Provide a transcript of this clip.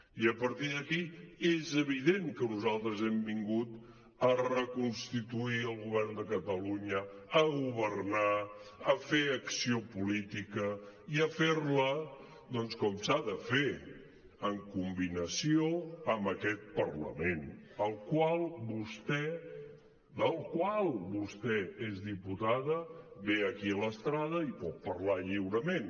i a partir d’aquí és evident que nosaltres hem vingut a reconstituir el govern de catalunya a governar a fer acció política i a fer la doncs com s’ha de fer en combinació amb aquest parlament del qual vostè és diputada ve aquí a l’estrada i pot parlar lliurement